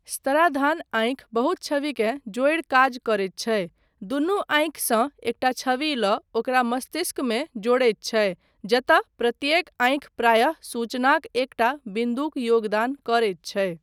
स्तराधान आँखि बहुत छविकेँ जोड़ि काज करैत छै, दुनू आँखिसँ एकटा छवि लऽ ओकरा मस्तिष्कमे जोड़ैत छै जतय प्रत्येक आँखि प्रायः सूचनाक एकटा बिन्दुक योगदान करैत छै।